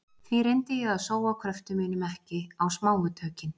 Því reyndi ég að sóa kröftum mínum ekki á smáu tökin.